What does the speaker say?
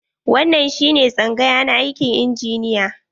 Wannan shi ne tsangaya na aikin injiniya.